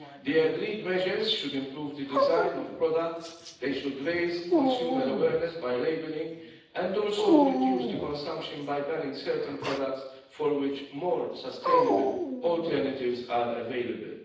The agreed measures should improve the design of products, raise consumer awareness by labelling, and also reduce consumption by banning certain products for which more sustainable alternatives are available.